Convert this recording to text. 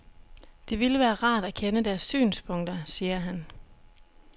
Det ville være rart at kende deres synspunkter, siger han.